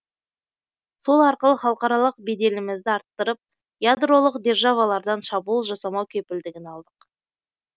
сол арқылы халықаралық беделімізді арттырып ядролық державалардан шабуыл жасамау кепілдігін алдық